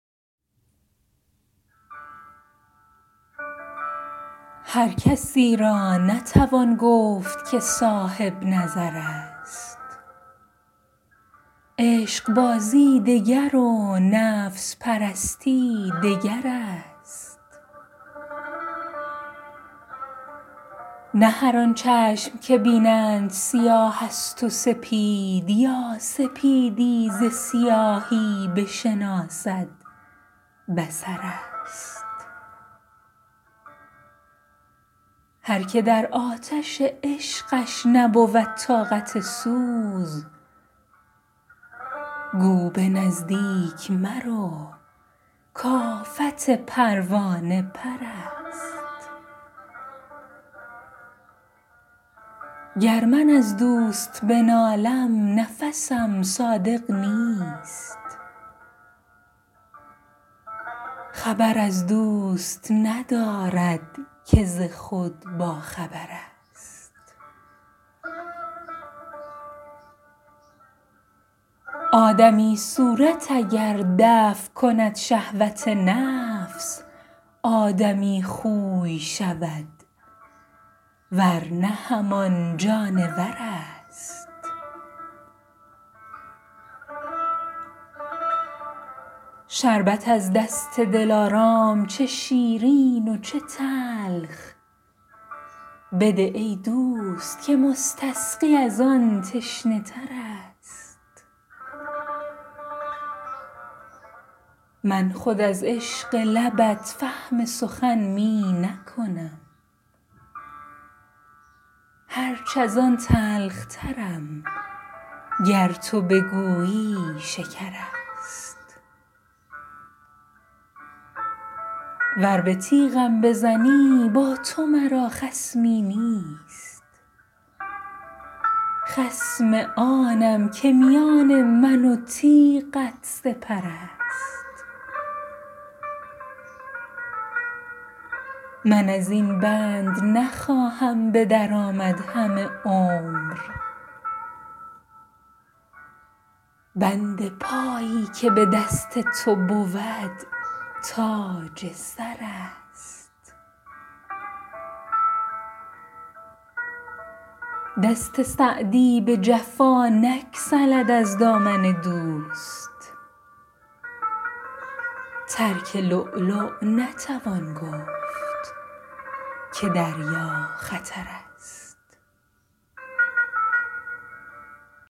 هر کسی را نتوان گفت که صاحب نظر است عشقبازی دگر و نفس پرستی دگر است نه هر آن چشم که بینند سیاه است و سپید یا سپیدی ز سیاهی بشناسد بصر است هر که در آتش عشقش نبود طاقت سوز گو به نزدیک مرو کآفت پروانه پر است گر من از دوست بنالم نفسم صادق نیست خبر از دوست ندارد که ز خود باخبر است آدمی صورت اگر دفع کند شهوت نفس آدمی خوی شود ور نه همان جانور است شربت از دست دلارام چه شیرین و چه تلخ بده ای دوست که مستسقی از آن تشنه تر است من خود از عشق لبت فهم سخن می نکنم هرچ از آن تلخترم گر تو بگویی شکر است ور به تیغم بزنی با تو مرا خصمی نیست خصم آنم که میان من و تیغت سپر است من از این بند نخواهم به در آمد همه عمر بند پایی که به دست تو بود تاج سر است دست سعدی به جفا نگسلد از دامن دوست ترک لؤلؤ نتوان گفت که دریا خطر است